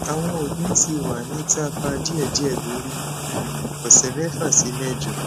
awọn oogun ti wa ni taper diėdiė lori um ọsẹ mefa si mejo